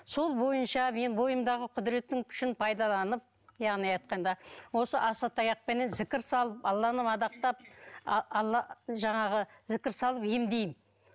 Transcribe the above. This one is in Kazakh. сол бойынша мен бойымдағы құдіреттің күшін пайдаланып яғни айтқанда осы асатаяқпенен зікір салып алланы мадақтап а алла жаңағы зікір салып емдеймін